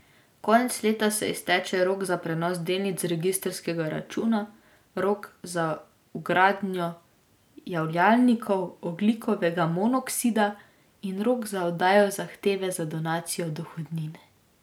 Konec leta se izteče rok za prenos delnic z registrskega računa, rok za vgradnjo javljalnikov ogljikovega monoksida in rok za oddajo zahteve za donacijo dohodnine.